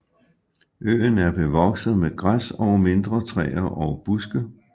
Øen er bevokset med græs og mindre træer og buske